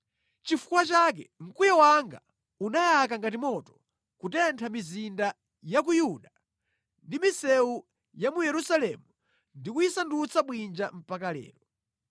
Nʼchifukwa chake mkwiyo wanga unayaka ngati moto kutentha mizinda ya ku Yuda ndi misewu ya mu Yerusalemu ndi kuyisandutsa bwinja mpaka lero.